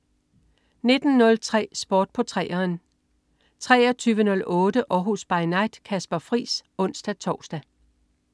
19.03 Sport på 3'eren 23.08 Århus By Night. Kasper Friis (ons-tors)